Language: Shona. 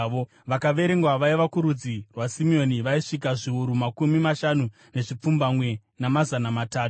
Vakaverengwa vaibva kurudzi rwaSimeoni vaisvika zviuru makumi mashanu nezvipfumbamwe, namazana matatu.